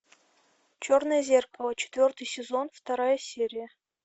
черное зеркало четвертый сезон вторая серия